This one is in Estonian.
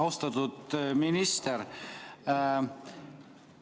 Austatud minister!